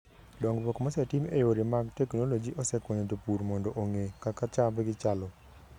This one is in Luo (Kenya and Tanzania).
Dongruok mosetim e yore mag teknoloji osekonyo jopur mondo ong'e kaka chamgi chalo.